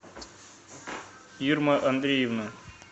ирма андреевна